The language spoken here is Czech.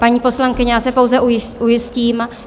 Paní poslankyně, já se pouze ujistím.